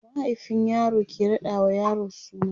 mahaifin yaro ke raɗa wa yaro suna